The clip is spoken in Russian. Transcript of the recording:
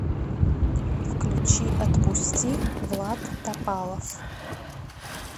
включи отпусти влад топалов